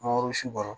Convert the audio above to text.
Mangoro si kɔrɔ